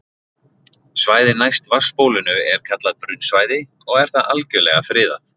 Svæðið næst vatnsbólinu er kallað brunnsvæði og er það algjörlega friðað.